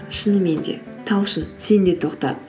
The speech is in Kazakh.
шынымен де талшын сен де тоқтат